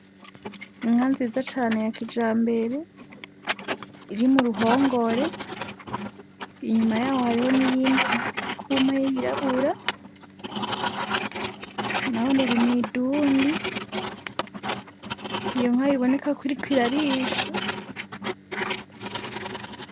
Inka nziza cane yakija mbere iri mu ruhongore inyuma yaho hariho niyindi nkaba irikuma y'yirabura na bo n irimwidundi iyo nka iboneka kurikoirarisha.